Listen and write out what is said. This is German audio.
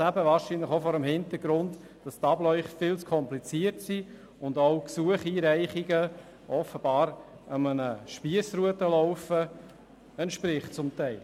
Dies auch vor dem Hintergrund, dass gewisse Abläufe wohl zu kompliziert sind und Gesuchseinreichungen offenbar zum Teil einem Spiessrutenlauf entsprechen.